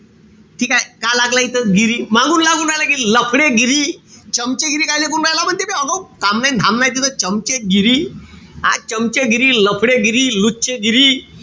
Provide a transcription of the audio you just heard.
ठीकेय? का लागलं इथं गिरी मागून लागू राहिल गिरी. लफ़डेगिरी. चमचेगिरी कायले करून राहिला म्हणते. आगाऊ. काम नाई अन धाम नाई अन तिथं चमचेगिरी. हा चमचेगिरी, लफ़डेगिरी, लुच्चेगिरी,